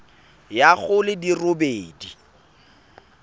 ya go di le robedi